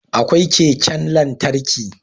Akwai keken lantarki